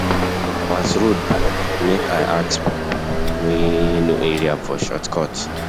As road block, make I ask pipo wey know area for shortcut.